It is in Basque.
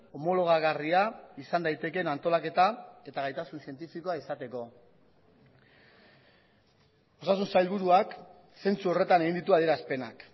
homologagarria izan daitekeen antolaketa eta gaitasun zientifikoa izateko osasun sailburuak zentzu horretan egin ditu adierazpenak